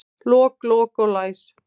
Lok, lok og læs